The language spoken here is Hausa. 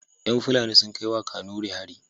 Yan fulani sun kai wa kanuri hari